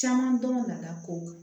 Caman dɔn ka da kow kan